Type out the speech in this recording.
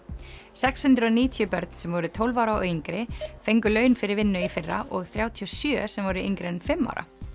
sex hundruð og níutíu börn sem voru tólf ára og yngri fengu laun fyrir vinnu í fyrra og þrjátíu og sjö sem voru yngri en fimm ára